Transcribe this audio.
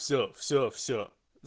все-все-все